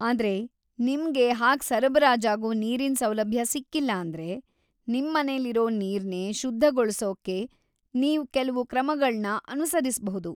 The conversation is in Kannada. ಆದ್ರೆ ನಿಮ್ಗೆ ಹಾಗ್ ಸರಬರಾಜಾಗೋ ನೀರಿನ್ ಸೌಲಭ್ಯ ಸಿಕ್ಕಿಲ್ಲ ಅಂದ್ರೆ, ನಿಮ್ಮನೆಲಿರೋ ನೀರ್‌ನೇ ಶುದ್ಧಗೊಳ್ಸೋಕೆ ನೀವ್‌ ಕೆಲ್ವು ಕ್ರಮಗಳ್ನ ಅನುಸರಿಸ್ಬಹುದು.